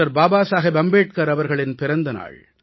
பாபாசாஹேப் அம்பேட்கர் அவர்களின் பிறந்த நாள்